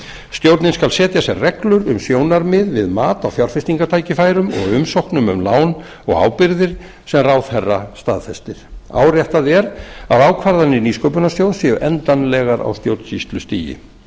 stjórnin skal setja sér reglur um sjónarmið við mat á fjárfestingartækifærum og umsóknum um lán og ábyrgðir sem ráðherra staðfestir áréttað er að ákvarðanir nýsköpunarsjóðs séu endanlegar á stjórnsýslustigi